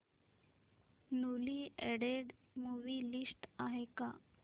newly added movie list आहे का